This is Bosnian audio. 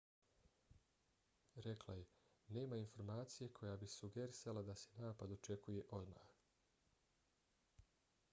rekla je nema informacije koja bi sugerisala da se napad očekuje odmah